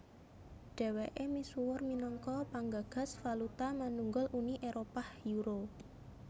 Dhèwèké misuwur minangka panggagas valuta manunggal Uni Éropah Euro